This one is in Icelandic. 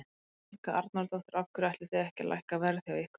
Helga Arnardóttir: Af hverju ætlið þið ekki að lækka verð hjá ykkur?